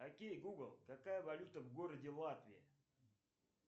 окей гугл какая валюта в городе латвии